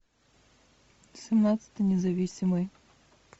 семнадцатый независимый